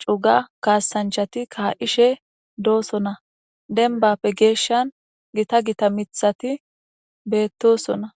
cuga kasachati ka'ishe dosona denbappe geshan gita gita mithati betosona